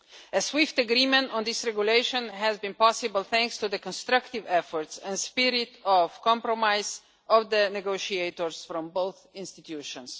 A swift agreement on this Regulation has been possible, thanks to the constructive efforts and spirit of compromise of the negotiators from both institutions.